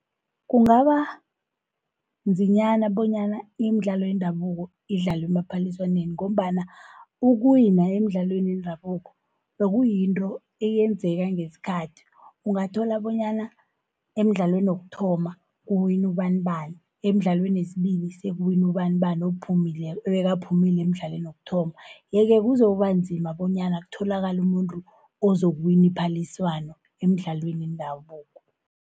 Kungaba nzinyana bonyana imidlalo yendabuko idlalwe emaphaliswaneni, ngombana ukuwina emidlalweni yendabuko, bekuyinto eyenzeka ngesikhathi. Ungathola bonyana emdlalweni wokuthoma kuwin' ubanibani, emdlalweni wesibili sekuwina ubanibani, obekaphumile emidlalweni wokuthoma. Ye-ke kuzokuba nzima bonyana kutholakale umuntu ozokuwina iphaliswano emidlalweni yendabuko.